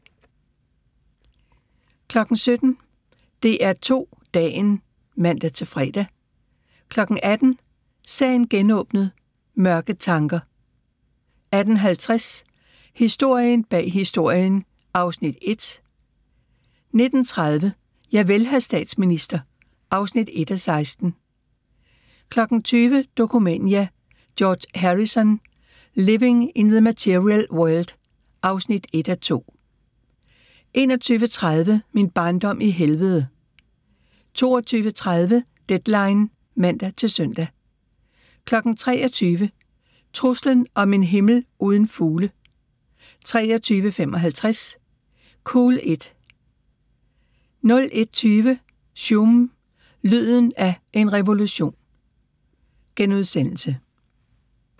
17:00: DR2 Dagen (man-fre) 18:00: Sagen genåbnet: Mørke tanker 18:50: Historien bag Historien (Afs. 1) 19:30: Javel, hr. statsminister (1:16) 20:00: Dokumania: George Harrison – Living in the Material World (1:2) 21:30: Min barndom i helvede 22:30: Deadline (man-søn) 23:00: Truslen om en himmel uden fugle 23:55: Cool it 01:20: Sume – lyden af en revolution *